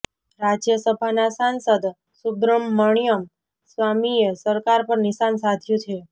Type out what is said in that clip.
રાજ્યસભાના સાંસદ સુબ્રમણ્યમ સ્વામીએ સરકાર પર નિશાન સાધ્યું છે